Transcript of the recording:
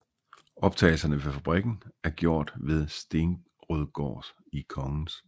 Optagelserne ved fabrikken er gjort ved Stenrødgård i Kgs